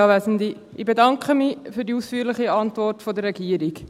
Ich bedanke mich für die ausführliche Antwort der Regierung.